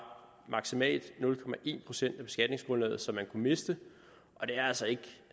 maksimalt nul procent af beskatningsgrundlaget som man kunne miste og det er altså ikke